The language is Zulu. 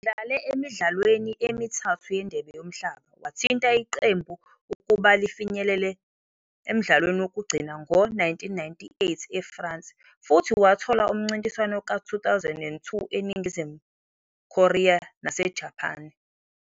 Udlale emidlalweni emithathu yeNdebe Yomhlaba, wathinta iqembu ukuba lifinyelele emdlalwa wokugcina ngo-1998 eFrance, futhi wathola umncintiswano ka-2002 eNingizimu Korea naseJapane.